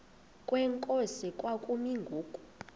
kwenkosi kwakumi ngoku